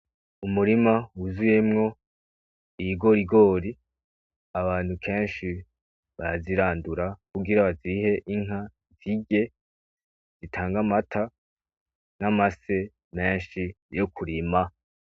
Umurima w'uzuyemwo ibigori, abantu kenshi barazirandura kugira bazihe inka zirye zitange amata n'amase menshi yo'kurima.